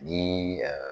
Ni